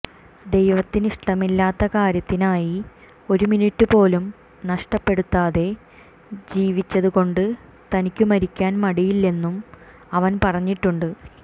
ദൈവത്തിനിഷ്ടമില്ലാത്ത കാര്യത്തിനായി ഒരു മിനിറ്റുപോലും നഷ്ടപ്പെടുത്താതെ ജീവിച്ചതുകൊണ്ട് തനിക്കു മരിക്കാൻ മടിയില്ലെന്നും അവൻ പറഞ്ഞിട്ടുണ്ട്